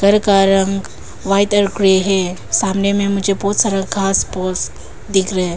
घर का रंग व्हाइट और ग्रे है सामने मुझे बहुत सारा घास फूस दिख रहा है।